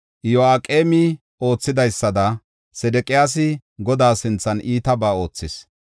Iyo7aqeemi oothidaysada Sedeqiyaasi Godaa sinthan iitabaa oothis.